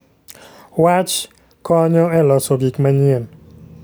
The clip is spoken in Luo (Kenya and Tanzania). Wach konyo e loso gik manyien.